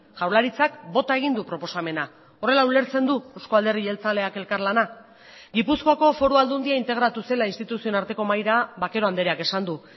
jaurlaritzak bota egin du proposamena horrela ulertzen du eusko alderdi jeltzaleak elkarlana gipuzkoako foru aldundia integratu zela instituzioen arteko mahaira vaquero andreak esan du